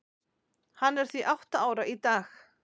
Hann er því átta ára í dag.